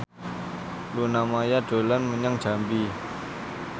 Luna Maya dolan menyang Jambi